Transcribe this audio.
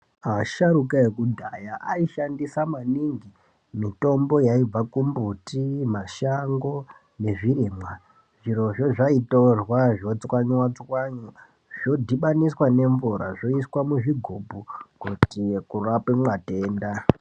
Asharuka ekudhaya aishandisa maningi mitombo yaibva kumbuti, mashango nezvirimwa. Zvirozvo zvaitorwa zvotswanywa-tswanywa zvodhibaniswa nemvura zvoiswe muzvigubhu kuitire kurape matenda.